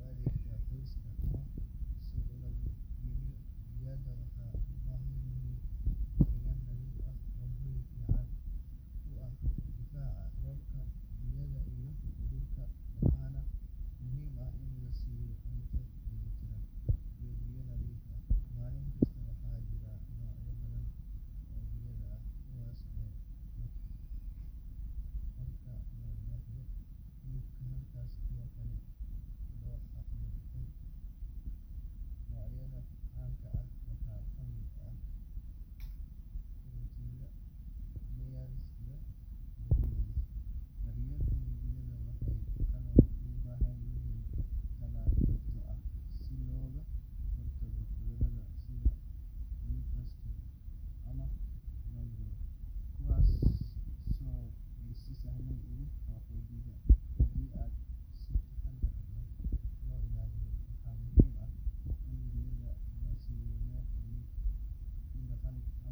oo u adeegta qoyska ama suuq lagu iibiyo. Digaagga waxay u baahan yihiin deegaan nadiif ah, hoy fiican oo ka difaaca roobka, dabaysha iyo ugaarta, waxaana muhiim ah in la siiyo cunto dheellitiran iyo biyo nadiif ah maalin kasta. Waxaa jira noocyo badan oo digaag ah, kuwaas oo qaarkood loo dhaqdo hilib, halka kuwa kale loo dhaqdo ukun. Noocyada caanka ah waxaa ka mid ah Kuroiler, Layers, iyo Broilers. Daryeelka digaagga wuxuu kaloo u baahan yahay tallaal joogto ah si looga hortago cudurro sida Newcastle ama Gumboro, kuwaas oo si sahlan ugu faafa digaagga haddii aan si taxaddar leh loo ilaalin. Waxaa muhiim ah in digaagga la siiyo meel ay ku daaqaan ama ku ciyaaraan si aysan u dareemin culays ama walwal, taas oo saameyn ku yeelan karta tayada ukunta.